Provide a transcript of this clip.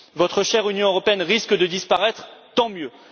Votre chère Union européenne risque de disparaître, tant mieux!